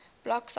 block cipher modes